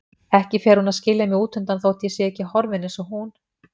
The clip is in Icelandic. Ekki fer hún að skilja mig útundan þótt ég sé ekki horfinn eins og hún.